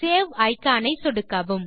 save iconஐ சொடுக்கவும்